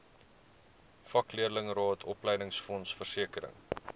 vakleerlingraad opleidingsfonds versekering